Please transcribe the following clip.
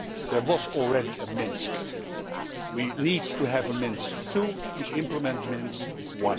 There was already a Minsk, and we need to have a Minsk II to implement Minsk I.